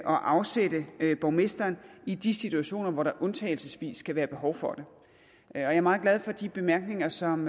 og afsætte borgmesteren i de situationer hvor der undtagelsesvis kan være behov for det jeg er meget glad for de bemærkninger som